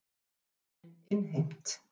Vilja lánin innheimt